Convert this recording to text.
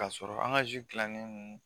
K'a sɔrɔ an ka dilannen